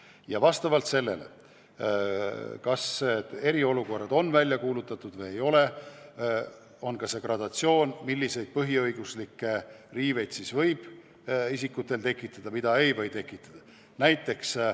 Ja vastavalt sellele, kas eriolukord on välja kuulutatud või ei ole, on ka see gradatsioon, milliseid põhiõiguslikke riiveid võib isikutel tekitada ja milliseid ei või tekitada.